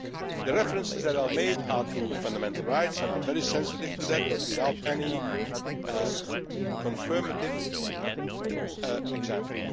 been made. The references that are made are to fundamental rights and I am very sensitive to that, but without any confirmative